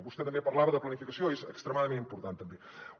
vostè també parlava de planificació és extremadament important també